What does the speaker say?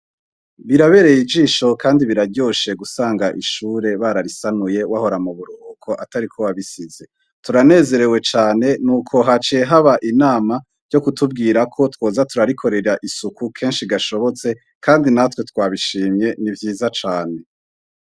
Birabeye ijisho kandi biraryosha gusanga ishure bararisanuye wahora muburuhuko atari uko wabisize, turanezerewe cane nuko haciye haba inama ryo kutubwira ko twoza turarikorera isuku kenshi gashobotse kandi natwe twabishimye nivyiza cane.